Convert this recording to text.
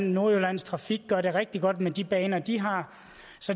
nordjyllands trafik gør det rigtig godt med de baner de har